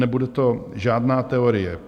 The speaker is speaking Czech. Nebude to žádná teorie.